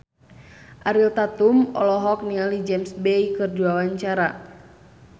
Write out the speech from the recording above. Ariel Tatum olohok ningali James Bay keur diwawancara